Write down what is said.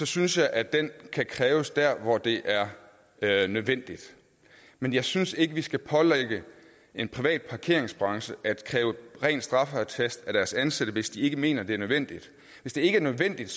synes jeg at den kan kræves der hvor det er er nødvendigt men jeg synes ikke at vi skal pålægge en privat parkeringsbranche at kræve en ren straffeattest af deres ansatte hvis de ikke mener at det er nødvendigt hvis det ikke er nødvendigt